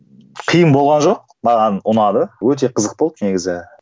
қиын болған жоқ маған ұнады өте қызық болды негізі